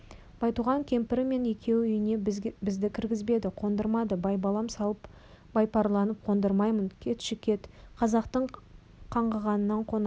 байтуған кемпірі мен екеуі үйіне бізді кіргізбеді қондырмады байбалам салып баяпарланып қондырмаймын кетші-кет қазақтың қаңғығанының қонақ